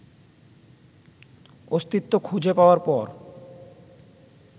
অস্তিত্ব খুঁজে পাওয়ার পর